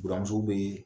Buramuso bɛ